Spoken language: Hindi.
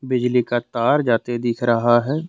बिजली का तार जाते दिख रहा है।